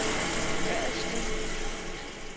Ørridslev